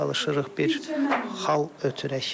Biz çalışırıq bir xalq ötürək.